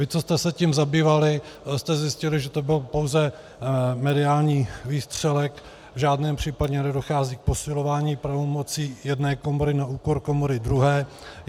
Vy, co jste se tím zabývali, jste zjistili, že to byl pouze mediální výstřelek, v žádném případě nedochází k posilování pravomocí jedné komory na úkor komory druhé.